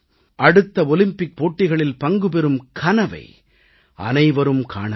அடுத்த ஒலிம்பிக் போட்டிகளில் பங்குபெறும் கனவை அனைவரும் காண வேண்டும்